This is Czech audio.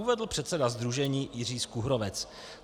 - Uvedl předseda sdružení Jiří Skuhrovec.